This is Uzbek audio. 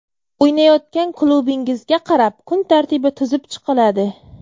O‘ynayotgan klubingizga qarab kun tartibi tuzib chiqiladi.